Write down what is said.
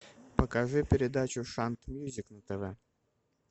покажи передачу шант мьюзик на тв